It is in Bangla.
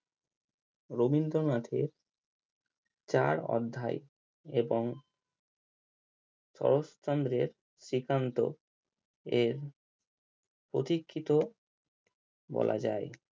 রবীন্দ্রনাথের চার অধ্যায় এবং শরৎচন্দ্রের শ্রীকান্ত এর প্রতীক্ষিত বলা যায়